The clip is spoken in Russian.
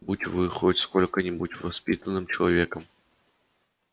будь вы хоть сколько-нибудь воспитанным человеком